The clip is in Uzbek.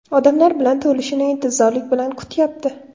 Odamlar bilan to‘lishini intizorlik bilan kutyapti.